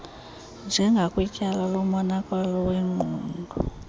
njengakwityala lomonakalo wengqondo